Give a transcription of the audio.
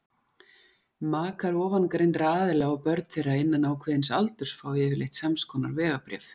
Makar ofangreindra aðila og börn þeirra innan ákveðins aldurs fá yfirleitt samskonar vegabréf.